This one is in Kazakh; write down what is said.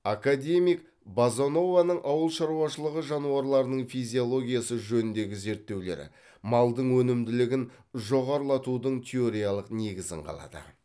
академик базанованың ауыл шаруашылығы жануарларының физиологиясы жөніндегі зерттеулері малдың өнімділігін жоғарылатудың теориялық негізін қалады